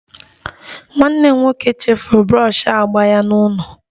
Nwanne m nwoke chefuru brọshi agba ya n'ụlọ